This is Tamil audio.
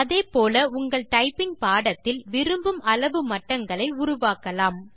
அதே போல் உங்கள் டைப்பிங் பாடத்தில் விரும்பும் அளவு மட்டங்களை உருவாக்கலாம்